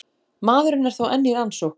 Maðurinn er þó enn í rannsókn